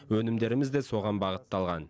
өнімдеріміз де соған бағытталған